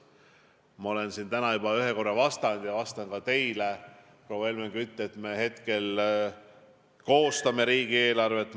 Ma olen siin täna juba ühe korra vastanud ja vastan ka teile, proua Helmen Kütt, et me hetkel koostame riigieelarvet.